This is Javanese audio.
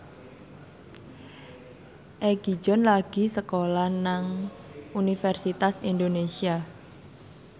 Egi John lagi sekolah nang Universitas Indonesia